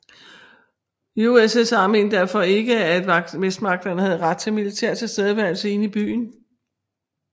USSR mente derfor ikke at Vestmagterne havde ret til militær tilstedeværelse inde i byen